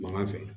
Mangan fɛ